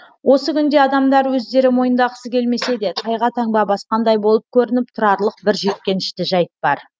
осы күнде адамдар өздері мойындағысы келмесе де тайға таңба басқандай болып көрініп тұрарлық бір жиіркенішті жайт бар